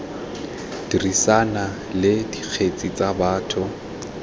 dirisana le dikgetse tsa batho